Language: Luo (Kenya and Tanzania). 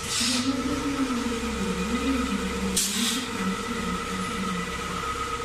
Jomathoth ma ng’ado bura, moriwo nyaka jopolisi auchiel, osemak.